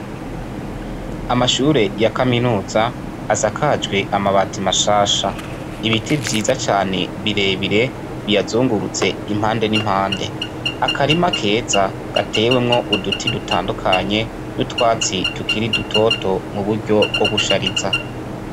Amashure y'a Kaminuza asakajwe amabati mashasha ibiti vyiza cane biyazungurutse impande nimpande. Akarima kezza gatewemwi uduti dutandukanye utwatsi duto to dutewemwo mumvo yo gushariza.